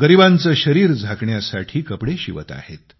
गरिबांचे शरीर झाकण्यासाठी कपडे शिवत आहेत